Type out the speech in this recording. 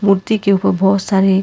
मूर्ति के ऊपर बहुत सारे--